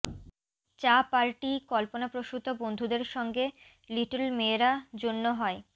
চা পার্টি কল্পনাপ্রসূত বন্ধুদের সঙ্গে লিটল মেয়েরা জন্য হয়